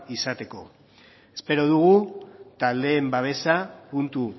izateko espero dugu taldeen babesa puntu